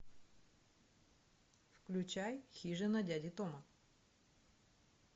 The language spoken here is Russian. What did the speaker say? включай хижина дяди тома